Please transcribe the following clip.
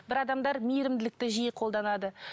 бір адамдар мейірімділікті жиі қолданады